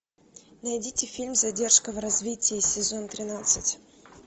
найдите фильм задержка в развитии сезон тринадцать